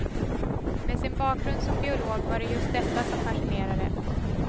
Med sin bakgrund som biolog var det just detta som fascinerade.